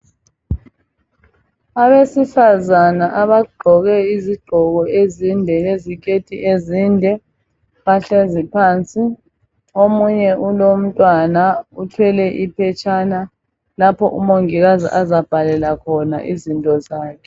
Abesifazana abagqoke izigqoko leziketi ezinde bahlezi phansi. Omunye ulomntwana uthwele iphetshana lapho uMongikazi azabhalela khona izinto zakhe.